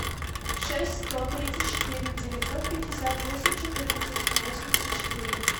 шесть сто тридцать четыре девятьсот пятьдесят восемь четырнадцать восемьдесят четыре